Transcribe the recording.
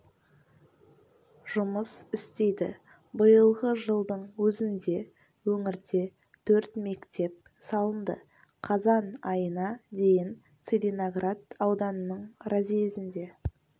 жұмыс істейді биылғы жылдың өзінде өңірде төрт мектеп салынды қазан айына дейін целиноград ауданының разъезінде